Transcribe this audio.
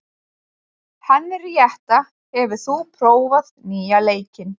Henríetta, hefur þú prófað nýja leikinn?